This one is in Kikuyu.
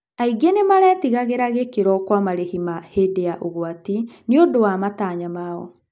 Aingĩ nĩ maretigagĩra gĩkĩro kwa marĩhi ma hĩndĩ ya ũgwati nĩũndũ wa matanya mao.